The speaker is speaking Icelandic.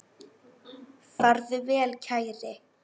Farðu vel, kæri.